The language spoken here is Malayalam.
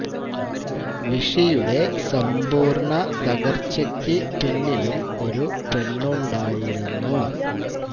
വിഷിയുടെ സമ്പൂര് ണ തകര് ച്ചക്ക് പിന്നിലും ഒരു പെണ്ണുണ്ടായിരുനു